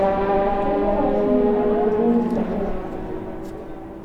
открой канал синергия тв на смотрешке